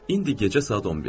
İndi gecə saat 11-dir.